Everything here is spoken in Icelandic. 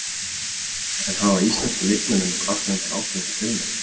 En hafa íslensku leikmennirnir kvartað undan ágengni fjölmiðla?